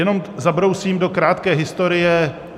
Jenom zabrousím do krátké historie.